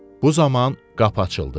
Bu zaman qapı açıldı.